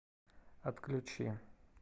отключи